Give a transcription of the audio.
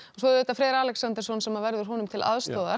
svo er Freyr Alexandersson sem verður honum til aðstoðar